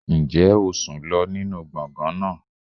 Ǹjẹ́ o sùn lọ nínú gbọ̀ngàn náà?